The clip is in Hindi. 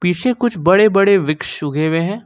पीछे कुछ बड़े बड़े वृक्ष उगे हुए हैं।